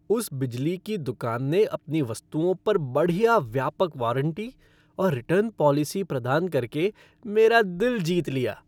उस बिजली की दुकान ने अपनी वस्तुओं पर बढ़िया व्यापक वारंटी और रिटर्न पॉलिसी प्रदान कर के मेरा दिल जीत लिया।